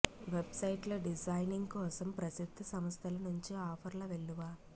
వెబ్సైట్ల designing కోసం ప్రసిద్ధ సంస్థల నుంచి ఆఫర్ల వెల్లువ